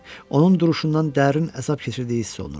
Onun duruşundan dərin əzab keçirdiyi hiss olunurdu.